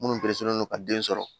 Minnu don ka den sɔrɔ